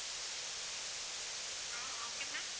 ah okay ma'am